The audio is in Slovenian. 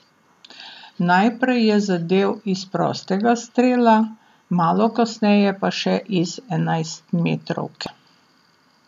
Najprej je zadel iz prostega strela, malo kasneje pa še iz enajstmetrovke.